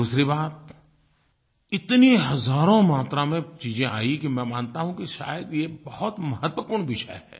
दूसरी बात इतनी हजारों मात्रा में चीज़ें आई कि मैं मानता हूँ कि शायद ये बहुत महत्वपूर्ण विषय है